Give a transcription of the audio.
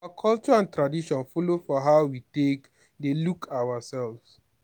our culture and tradition follow for how we take dey look ourself